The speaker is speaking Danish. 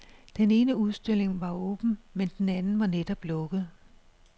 Den ene udstilling var åben, men den anden var netop lukket.